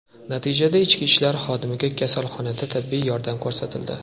Natijada ichki ishlar xodimiga kasalxonada tibbiy yordam ko‘rsatildi.